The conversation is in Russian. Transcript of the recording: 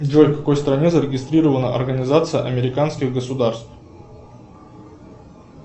джой в какой стране зарегистрирована организация американских государств